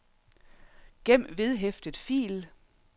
gem vedhæftet fil